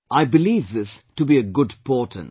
I believe this to be a good portent